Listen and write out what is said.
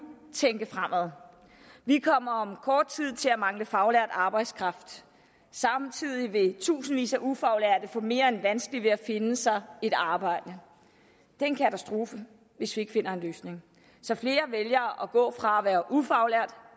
tænke fremad vi kommer om kort tid til at mangle faglært arbejdskraft samtidig vil tusindvis af ufaglærte få mere end vanskeligt ved at finde sig et arbejde det er en katastrofe hvis vi ikke finder en løsning så flere vælger at gå fra at være ufaglært